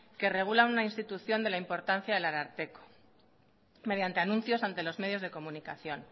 que regula una institución de la importancia del ararteko mediante anuncios ante los medios de comunicación